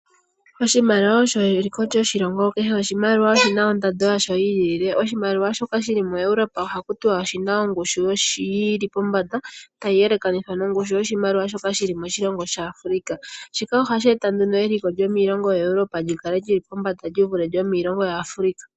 Oshimaliwa osho eliko lyoshilongo. Kehe oshimaliwa oshina ondando yasho yi ilile. Oshimaliwa shoka shili muEuropa ohaku tiwa oshina ongushu yili pombanda tayi yelekanithwa nongushu yoshimaliwa shoka shili moshilongo shaAfrika. Shika ohashi eta nduno eliko lyomiilongo yaEuropa li kale li li pombanda li vule lyomiilongo yaAfrika.